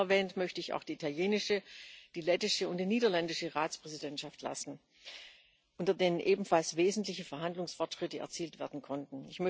Nicht unerwähnt möchte ich auch die italienische, die lettische und die niederländische Ratspräsidentschaft lassen, unter denen ebenfalls wesentliche Verhandlungsfortschritte erzielt werden konnten.